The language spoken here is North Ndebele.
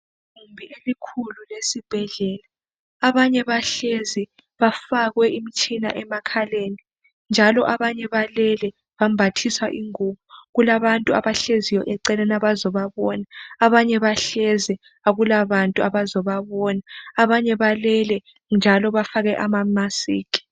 Igumbi elikhulu lesibhedlela. Abanye bahlezi bafakwe imtshina emakhaleni njalo abanye balele bambathiswa ingubo. Kulabantu abahleziyo eceleni abazobabona. Abanye bahlezi akulabantu abazobabona, abanye balele njalo bafake amamasikhi.